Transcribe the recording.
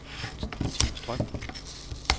Tine Strøm